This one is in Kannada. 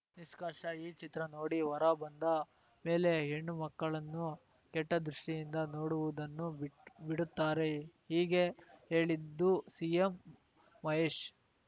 ನಿಷ್ಕರ್ಷ ಈ ಚಿತ್ರ ನೋಡಿ ಹೊರ ಬಂದ ಮೇಲೆ ಹೆಣ್ಣು ಮಕ್ಕಳನ್ನು ಕೆಟ್ಟದೃಷ್ಟಿಯಿಂದ ನೋಡುವುದನ್ನು ಬಿಟ್ ಬಿಡುತ್ತಾರೆ ಹೀಗೆ ಹೇಳಿದ್ದು ಸಿ ಎಂ ಮಹೇಶ್‌